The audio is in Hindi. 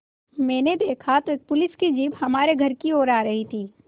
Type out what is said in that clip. मैंने देखा तो एक पुलिस की जीप हमारे घर की ओर आ रही थी